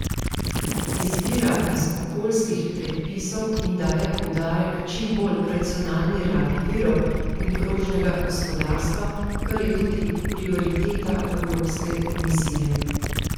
Izvira iz okoljskih predpisov in daje poudarek čim bolj racionalni rabi virov in krožnega gospodarstva, kar je tudi prioriteta evropske komisije.